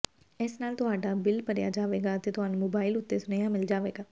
ਇਸ ਨਾਲ ਤੁਹਾਡਾ ਬਿੱਲ ਭਰਿਆ ਜਾਵੇਗਾ ਅਤੇ ਤੁਹਾਨੂੰ ਮੋਬਾਈਲ ਉੱਤੇ ਸੁਨੇਹਾ ਮਿਲ ਜਾਵੇਗਾ